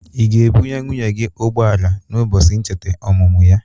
Ị ga-ebụnye nwunye gị ụgbọ ala na ụbọchị ncheta ọmụmụ ya?